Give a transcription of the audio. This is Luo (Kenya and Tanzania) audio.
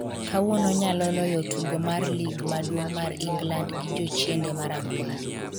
kawuono nyalo loyo tugo mar lig maduong' mar England gi jochiende marakwar